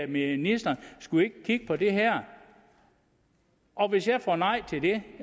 ministeren skulle vi ikke kigge på det her og hvis jeg får nej til det